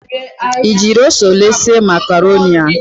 Ị jiri ose ole sie makaroni a?